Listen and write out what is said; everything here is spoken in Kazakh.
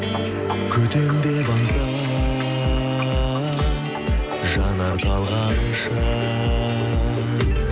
күтемін деп аңса жанар талғанша